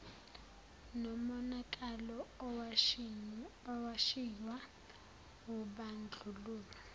nomonakalo owashiywa wubandlululo